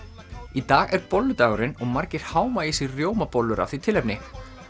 í dag er bolludagurinn og margir háma í sig rjómabollur af því tilefni